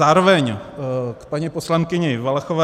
Zároveň k paní poslankyni Valachové.